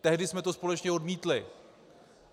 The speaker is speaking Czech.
Tehdy jsme to společně odmítli.